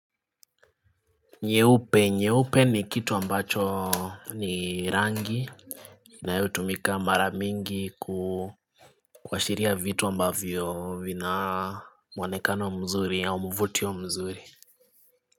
Nyeupe nyeupe ni kitu ambacho ni rangi inayo tumika maramingi kuhashiria vitu ambavyo vina mwonekano mzuri au mvuto mzuri.